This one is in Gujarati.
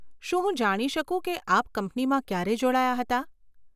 શું હું જાણી શકું કે આપ કંપનીમાં ક્યારે જોડાયાં હતાં?